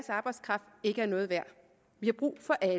arbejdskraft ikke er noget værd vi har brug for alle